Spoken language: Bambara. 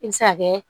I bɛ se ka kɛ